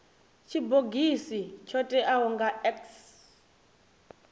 tshibogisi tsho teaho nga x